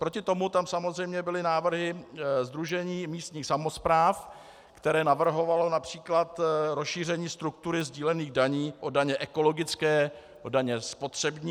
Proti tomu tam samozřejmě byly návrhy Sdružení místních samospráv, které navrhovalo například rozšíření struktury sdílených daní o daně ekologické, o daně spotřební.